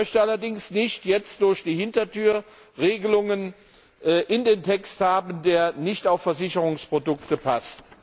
Ich möchte allerdings nicht jetzt durch die Hintertür Regelungen in dem Text haben, die nicht auf Versicherungsprodukte passt.